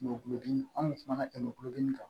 Mɔgɔ kulodimi an kun tumana kɛmɛ kan